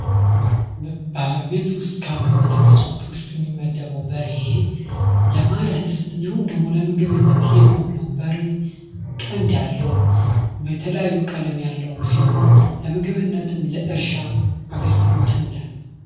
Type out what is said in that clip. በቤት ውስጥ ካሉ የቤት እንስሶቹ ውስጥ የሚመደበው በሬ ለማረስ፤ እንዲሁም ደግሞ ለምግብነት የሚውል ነው። በሬ ቀንድ ያለው በተለያዩ ቀለም ያለው ሲሆን፤ ለምግብነትም ለእርሻም አገልግሎት ይውላል።